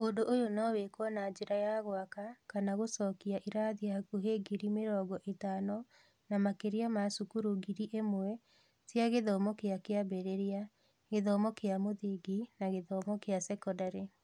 Ũndũ ũyũ no wĩkwo na njĩra ya gwaka kana gũcokia irathi hakuhĩ ngiri mĩrongo ĩtano na makĩria ma cukuru ngiri ĩmwe cia gĩthomo kĩa kĩambĩrĩria, gĩthomo kĩa mũthingi, na gĩthomo kĩa sekondarĩ.